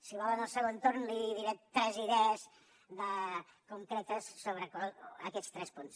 si vol en el segon torn li diré tres idees concretes sobre aquests tres punts